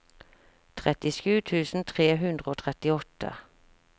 trettisju tusen tre hundre og trettiåtte